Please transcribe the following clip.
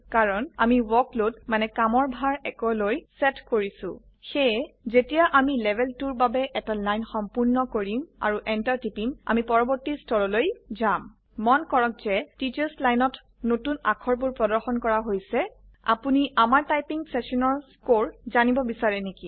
কাৰন আমি ৱৰ্কলোড মানে কামৰভাৰ 1 লৈ সেট কৰিছো সেয়ে যেতিয়া আমি লেভেল 2ৰ বাবে এটা লাইন সম্পূৰ্ণ কৰিম আৰু Enter টিপিম আমি পৰবৰ্তী স্তৰলৈ যাম মন কৰক যে টিচাৰ্ছ Lineত নতুন অাক্ষবোৰ প্ৰদৰ্শন কৰা হৈছে আপোনি আমাৰ টাইপিং সেশানৰ স্কোৰ জানিব বেছাৰে নেকি